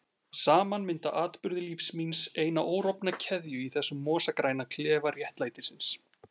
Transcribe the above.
Saman mynda atburðir lífs míns eina órofna keðju í þessum mosagræna klefa réttlætisins.